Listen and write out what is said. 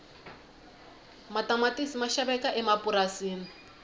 matamatisi ma xaveka emapurasini